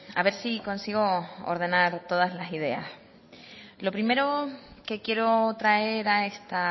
a ver si consigo ordenar todas las ideas lo primero que quiero traer a esta